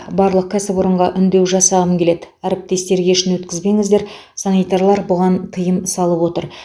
барлық кәсіпорынға үндеу жасағым келеді әріптестер кешін өткізбеңіздер санитарлар бұған тыйым салып отыр